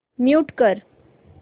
mute कर